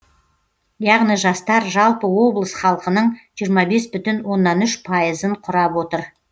яғни жастар жалпы облыс халқының жиырма бес бүтін оннан үш пайызын құрап отыр